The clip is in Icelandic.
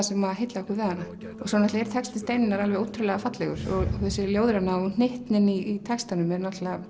sem heillar okkur við hana svo er texti Steinunnar ótrúlega fallegur þessi ljóðræna og hittnin í textanum er